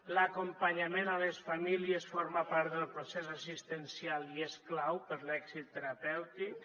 l’acompanyament a les famílies forma part del procés assistencial i és clau per a l’èxit terapèutic